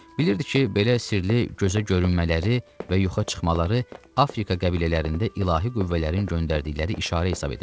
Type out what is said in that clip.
Bilirdi ki, belə sirli gözə görünmələri və yoxa çıxmaları Afrika qəbilələrində ilahi qüvvələrin göndərdikləri işarə hesab edirlər.